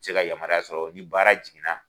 Se ka yamaruya sɔrɔ ni baara jiginna.